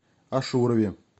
ашурове